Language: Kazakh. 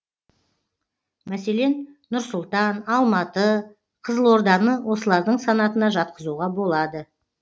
мәселен нұр сұлтан алматы қызылорданы осылардың санатына жатқызуға болады